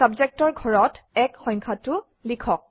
Subject অৰ ঘৰত 1 সংখ্যাটো লিখক